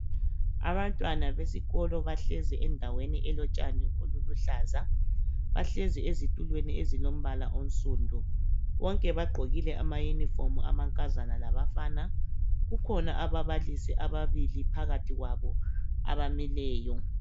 Abantwana besikolo bahlezi endaweni elotshani oluluhlaza . Bahlezi ezitulweni ezilombala onsundu. Bonke bagqokile ama uniform amankazana labafana . Kukhona ababalisi ababili phakathi kwabo abamileyo.